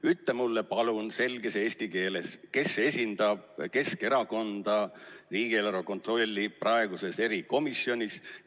Ütle mulle palun selges eesti keeles, kes esindab Keskerakonda riigieelarve kontrolli praeguses erikomisjonis.